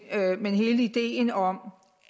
hele ideen om